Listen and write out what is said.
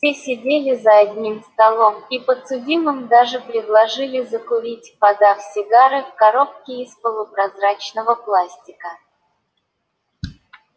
все сидели за одним столом и подсудимым даже предложили закурить подав сигары в коробке из полупрозрачного пластика